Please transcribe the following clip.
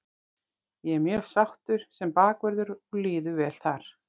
Ég er mjög sáttur sem bakvörður og liður vel þar.